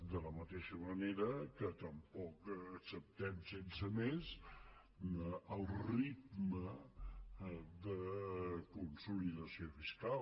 de la mateixa manera que tampoc acceptem sense més el ritme de consolidació fiscal